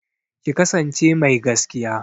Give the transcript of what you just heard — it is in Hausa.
Ki kasance mai gaskiya!